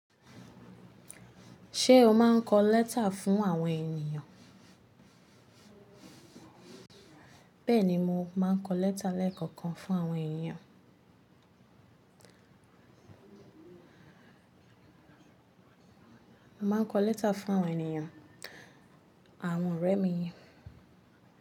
Ṣé o máa ń kọ lẹ́tà fún àwọn ènìyàn? Bẹ́ẹ̀ni, mo máa ń kọ lẹ́tà lẹ́ẹ̀kọ̀kan fún àwọn ènìyàn. Mo máa ń kọ lẹ́tà fún àwọn ènìyàn, àwọn ọ̀rẹ́ mi.